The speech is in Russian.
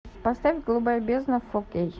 поставь голубая бездна фор кей